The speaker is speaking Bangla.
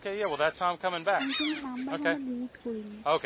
আমি কিন্তু number ফাম্বর delete করিনি